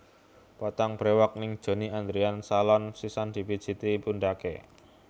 Potong brewok ning Johnny Andrean Salon sisan dipijeti pundhake